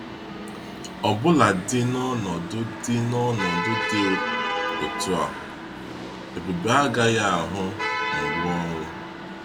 Ọbụladị na ọnọdụ dị ọnọdụ dị otu a, Ebube agaghị ahụ mgbu ọnwụ.